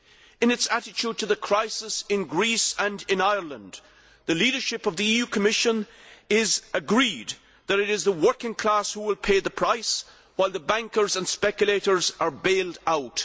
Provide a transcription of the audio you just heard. In its attitude to the crisis in Greece and in Ireland, the leadership of the EU Commission is agreed that it is the working class who will pay the price, while the bankers and speculators are baled out.